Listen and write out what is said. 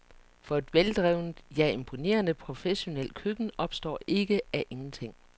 For et veldrevet, ja, imponerende professionelt køkken opstår ikke af ingenting.